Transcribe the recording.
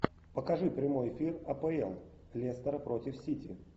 покажи прямой эфир апл лестер против сити